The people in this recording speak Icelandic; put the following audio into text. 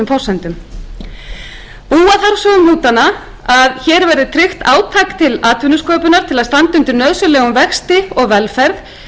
forsendum búa þarf svo um hnútana að hér verði tryggt átak til atvinnusköpunar til að standa undir nauðsynlegum vexti og velferð